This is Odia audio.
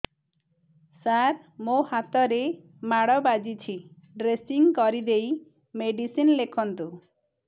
ସାର ମୋ ହାତରେ ମାଡ଼ ବାଜିଛି ଡ୍ରେସିଂ କରିଦେଇ ମେଡିସିନ ଲେଖନ୍ତୁ